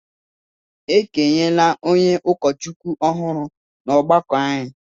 E kenyela onye ụkọchukwu ọhụrụ n’ọgbakọ anyị